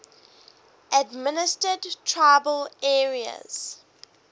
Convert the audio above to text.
administered tribal areas